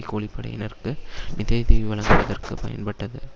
கூலி படையினருக்கு நிதியுதவி வழங்குவதற்கு பயன்படுத்தப்பட்டது